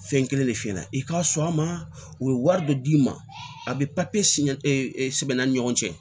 Fɛn kelen de f'i ɲɛna i k'a sɔn a ma o ye wari de d'i ma a bɛ sɛbɛn an ni ɲɔgɔn cɛ